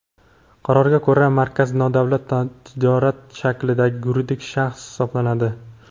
Qarorga ko‘ra Markaz nodavlat notijorat tashkiloti shaklidagi yuridik shaxs hisoblanadi.